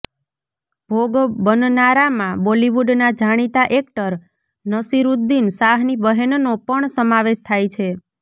ભોગ બનનારામાં બોલીવુડના જાણીતા એક્ટર નસીરુદ્દીન શાહની બહેનનો પણ સમાવેશ થાય છે